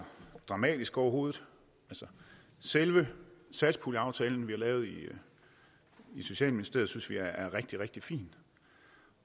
dramatisk overhovedet selve satspuljeaftalen vi har lavet i socialministeriet synes vi er rigtig rigtig fin